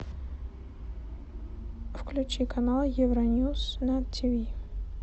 включи канал евроньюс на тв